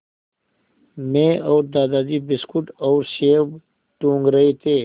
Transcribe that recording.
मैं और दादाजी बिस्कुट और सेब टूँग रहे थे